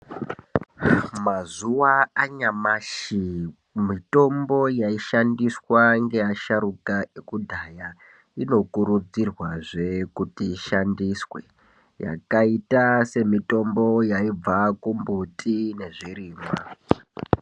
Mazuwa anyamashi mitombo yaishandiswa ngeasharuka ekudhaya inokurudzirwazve kuti ishandiswe yakaita semitombo yaibva kumbiti nezvirimwa.